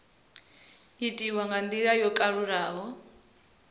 itiwa nga ndila yo kalulaho